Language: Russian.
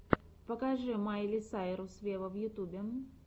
покажи майли сайрус вево в ютубе